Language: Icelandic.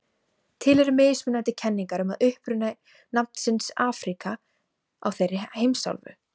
Til eru mismunandi kenningar um uppruna nafnsins Afríka á þeirri heimsálfu.